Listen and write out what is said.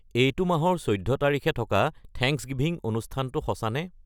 এইটো মাহৰ চৈধ্য তাৰিখে থকা থেংকছ গিভিং অনুষ্ঠানটো সঁচানে